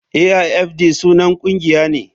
Aifd sunan ƙungiya ne.